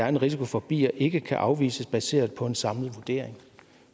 en risiko for bier ikke kan afvises baseret på en samlet vurdering